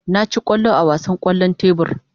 Na ci kwallo a wasan kwallon tebur.